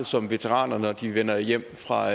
som veteraner når de vender hjem fra